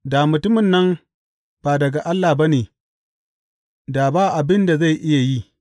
Da mutumin nan ba daga Allah ba ne, da ba abin da zai iya yi.